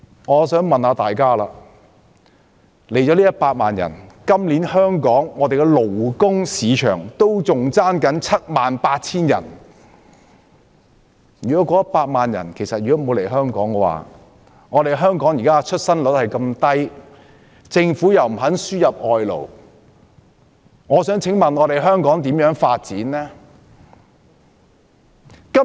可是，即使來了100萬人，今年香港的勞工市場仍欠約 78,000 人，如果沒有這100萬人來港，加上香港現時出生率這麼低，而政府又不肯輸入外勞，試問香港如何發展呢？